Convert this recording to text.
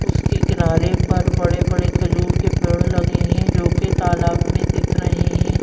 उसके किनारे पर बड़े-बड़े खजूर के पेड़ लगे हैं जो कि तालाब में दिख रहे हैं।